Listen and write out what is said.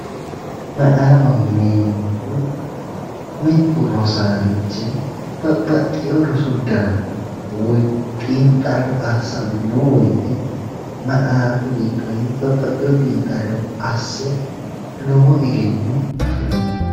maxaafaho yineemmohu mittu rosaanchi babbaxino rosu dana woyi xiinxallo assannowoyite maxaafu giddoyi babbaxxino xiinxallo asse lowo egenno afiranno.